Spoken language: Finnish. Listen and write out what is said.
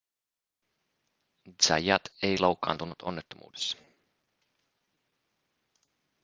zayat ei loukkaantunut onnettomuudessa